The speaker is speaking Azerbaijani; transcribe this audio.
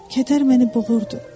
Kədər məni boğurdu.